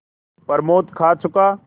प्रमोद खा चुका